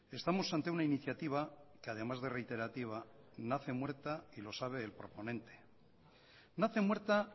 estamos ante una iniciativa que además de reiterativa nace muerta y lo sabe el proponente nace muerta